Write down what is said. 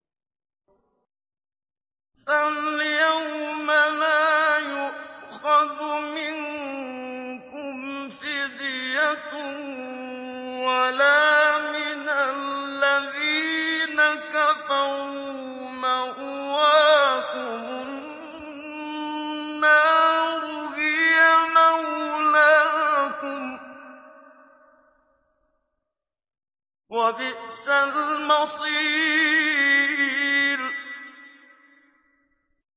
فَالْيَوْمَ لَا يُؤْخَذُ مِنكُمْ فِدْيَةٌ وَلَا مِنَ الَّذِينَ كَفَرُوا ۚ مَأْوَاكُمُ النَّارُ ۖ هِيَ مَوْلَاكُمْ ۖ وَبِئْسَ الْمَصِيرُ